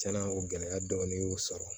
Tiɲɛna o gɛlɛya dɔɔnin y'u sɔrɔ